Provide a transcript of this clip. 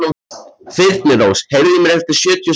Þyrnirós, heyrðu í mér eftir sjötíu og sjö mínútur.